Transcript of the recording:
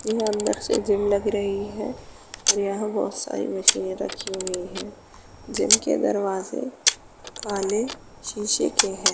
ये अंदर से जिम लग रही है और यहाँ पर बहोत सारी मशीनें रखी हुई हैं। जिम के दरवाजे काले शीशे के है।